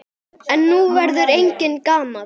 En nú verður enginn gamall.